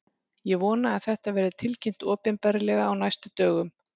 Ég vona að þetta verði tilkynnt opinberlega á næstu dögum.